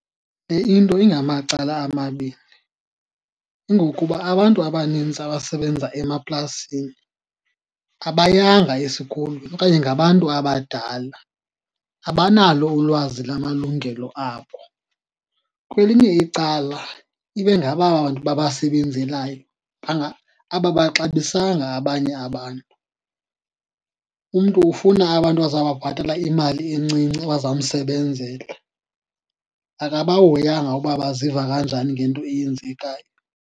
Le into ingamacala amabini, kungokuba abantu abanintsi abasebenza emaplasini abayanga esikolweni okanye ngabantu abadala, abanalo ulwazi lamalungelo abo. Kwelinye icala ibe ngabo aba bantu babasebenzelayo ababaxabisanga abanye abantu. Umntu ufuna abantu azawubabhatala imali encinci abazamsebenzela, akabahoyanga ukuba baziva kanjani ngento eyenzekayo.